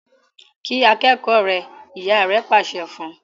kí akékòó rẹ! ìyá rẹ pàṣẹ fún.